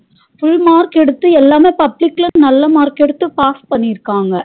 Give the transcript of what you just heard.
Full mark எடுத்து எல்லாமே public லா நல்லா mark எடுத்து pass பணிருகாங்க